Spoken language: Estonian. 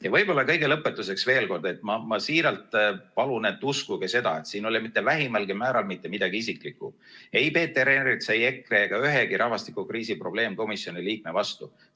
Ja võib-olla kõige lõpetuseks veel kord: ma siiralt palun, et uskuge, siin ei ole mitte vähimalgi määral mitte midagi isiklikku – ei Peeter Ernitsa, EKRE ega ühegi rahvastikukriisi probleemkomisjoni liikme vastu.